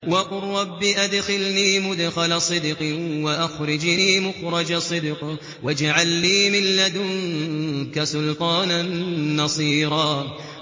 وَقُل رَّبِّ أَدْخِلْنِي مُدْخَلَ صِدْقٍ وَأَخْرِجْنِي مُخْرَجَ صِدْقٍ وَاجْعَل لِّي مِن لَّدُنكَ سُلْطَانًا نَّصِيرًا